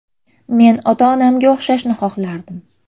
Men ota-onamga o‘xshashni xohlardim.